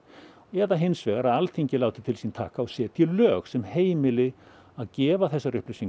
eða hins vegar að Alþingi láti til sín taka og setji lög sem heimili að gefa þessar upplýsingar